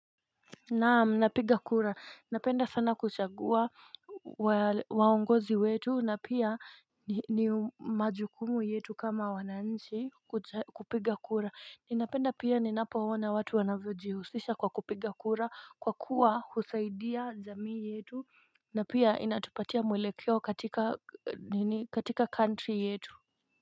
Naam napiga kura napenda sana kuchagua waongozi wetu na pia ni majukumu yetu kama wananchi kupiga kura Ninapenda pia ninapo ona watu wanavyo jihusisha kwa kupiga kura kwa kuwa husaidia jamii yetu na pia inatupatia mwelekio katika country yetu.